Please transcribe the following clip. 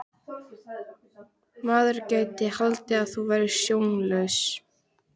Maður gæti haldið að þú værir sjónlaus!